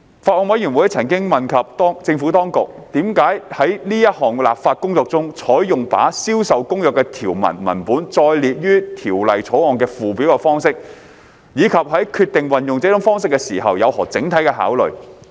法案委員會曾詢問政府當局，為何在此項立法工作中，採用把《銷售公約》的條文文本列載於《條例草案》的附表的方式，以及在決定運用這種方式時有何整體考慮。